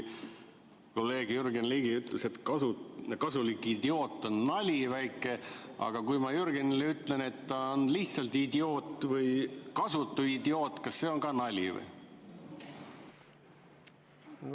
Kolleeg Jürgen Ligi ütles, et kasulik idioot on väike nali, aga kui ma Jürgenile ütlen, et ta on lihtsalt idioot või kasutu idioot, siis kas see on ka nali?